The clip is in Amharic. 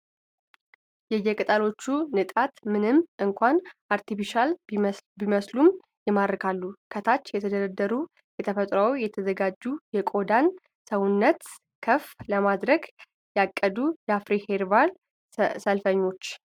የየቅጠሎቹ ንጣት ምንም እንኳን አርቴፊሻል ቢመስሉም ይማርካሉ ፤ ከታች የተደረደሩ ከተፈጥሮ የተዘጋጁ የቆዳን ስነውበት ከፍ ለማድረግ ያቀዱ የአፍሪ ኸርባል ሰልፈኞች።